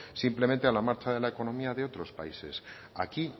simplemente a la marcha de la economía de otros países aquí